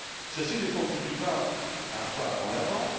Ceci ne constitue pas un pas en avant.